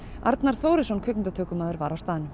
Arnar Þórisson kvikmyndatökumaður var á staðnum